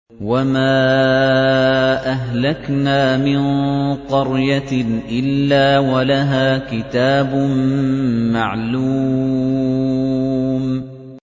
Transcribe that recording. وَمَا أَهْلَكْنَا مِن قَرْيَةٍ إِلَّا وَلَهَا كِتَابٌ مَّعْلُومٌ